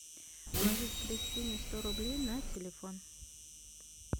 положить кристине сто рублей на телефон